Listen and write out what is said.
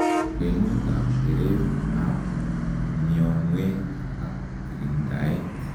kwenut ab teret abmionwek ak kiringdaet